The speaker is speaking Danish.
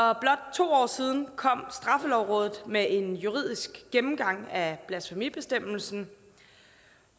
to år siden kom straffelovrådet med en juridisk gennemgang af blasfemibestemmelsen